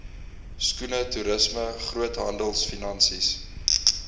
skoene toerisme groothandelfinansies